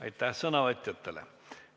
Aitäh sõnavõtjatele!